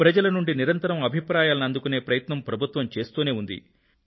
ప్రజల నుండి నిరంతరం అభిప్రాయాలని అందుకునే ప్రయత్నం ప్రభుత్వం చేస్తూనే ఉంది